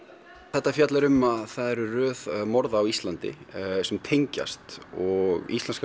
þetta fjallar um að það er röð morða á Íslandi sem tengjast og íslenska